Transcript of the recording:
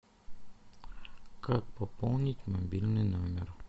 как пополнить мобильный номер